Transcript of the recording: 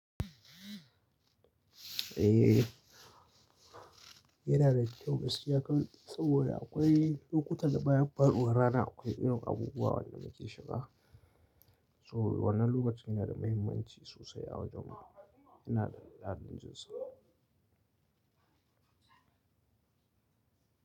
Eh, yana da kyau gaskiya karɓi saboda akwai lokuta da bayan faruwar rana akwai irin abubuwan da muke shiga. So wannan lokacin yana da mahimmanci sosai a wajenmu. Yana da dalilinsa.